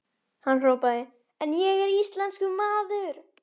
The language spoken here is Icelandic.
Hann hrópaði: En ég er íslenskur maður!